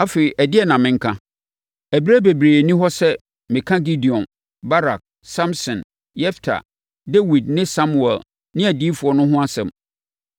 Afei ɛdeɛn na menka? Ɛberɛ bebree nni hɔ sɛ mɛka Gideon, Barak, Samson, Yefta, Dawid ne Samuel ne adiyifoɔ no ho asɛm.